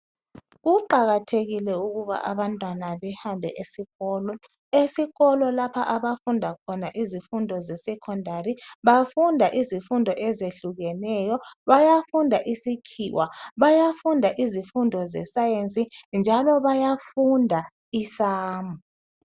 Kuqakathekile ukuba abantwana behambe esikolo. Esikolo lapha abafunda khona izifundo ze Secondary, bafunda izifundo ezehlukeneyo . Bayafunda isikhiwa, bayafunda izifundo ze Science njalo bayafunda I sum.